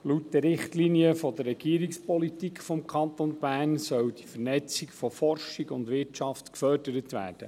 Laut den Richtlinien der Regierungspolitik des Kantons Bern soll die Vernetzung von Forschung und Wirtschaft gefördert werden.